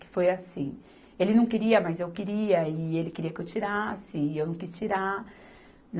Que foi assim... Ele não queria, mas eu queria, e ele queria que eu tirasse, e eu não quis tirar.